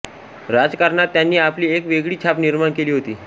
राजकारणात त्यांनी आपली एक वेगळी छाप निर्माण केली होती